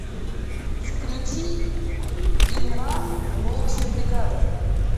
включи инран волчья бригада